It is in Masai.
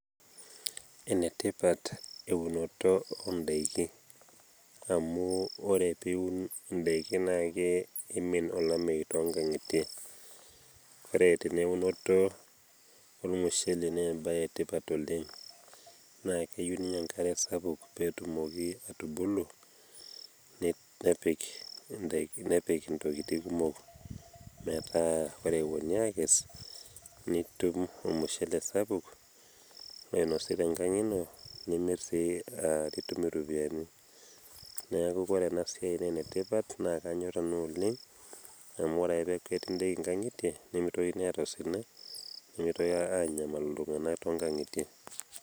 enetipat eunoto oodaiki amu ore pee iun idaiki naa kimin olameyu too nkangitie, ore tene eunoto ormushele naa ebae etipat oleng naa keyieu ninye enkare sapuk pee etumoki atubulu nepik. intokitin kumok metaa ore epuonu aakes, nitum ormushele sapuk oinosi tenkang ino, nimir sii nitum iropyiani. neeku ore ena siai naa ene tipat naa kanyor ena oleng, amu ore ake peeku ketii daiki nkangitie neimitokini aata osina, nemtokini aanyamalu iltunganak too nkangitie.